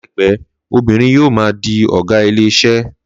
Láìpé obìrin yíò ma di ọgá ilé iṣé